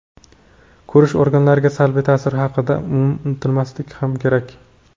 ko‘rish organlariga salbiy ta’siri haqida ham unutmaslik kerak.